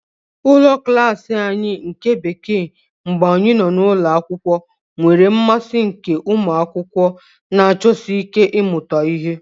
Ụlọ klas anyị nke Bekee mgbe anyị nọ n'ụlọ akwụkwọ nwere mmasị nke ụmụ akwụkwọ na-achọsi ike ịmụta ihe.